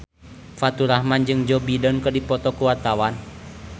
Faturrahman jeung Joe Biden keur dipoto ku wartawan